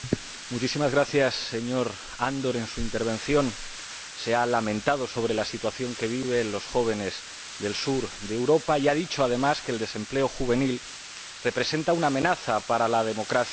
Señor Presidente, señor Andor, en su intervención se ha lamentado sobre la situación que viven los jóvenes del sur de Europa y ha dicho, además, que el desempleo juvenil representa una amenaza para la democracia.